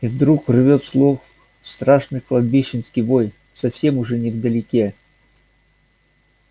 и вдруг рвёт слух страшный кладбищенский вой совсем уже невдалеке